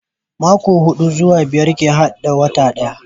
Mako hudu zuwa biyar ke hada wata daya